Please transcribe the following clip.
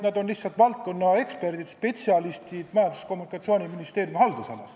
Nad on lihtsalt valdkonna eksperdid, spetsialistid Majandus- ja Kommunikatsiooniministeeriumi haldusalas.